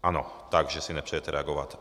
Ano, takže si nepřejete reagovat.